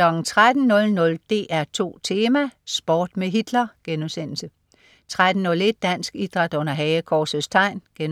13.00 DR2 Tema: Sport med Hitler* 13.01 Dansk Idræt under Hagekorsets Tegn* 14.00